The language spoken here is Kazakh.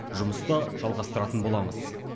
жұмысты жалғастыратын боламыз